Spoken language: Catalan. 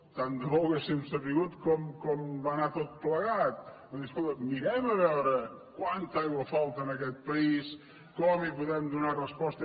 tant de bo ho haguéssim sabut com va anar tot plegat vull dir escolti mirem a veure quanta aigua falta en aquest país com hi podem donar resposta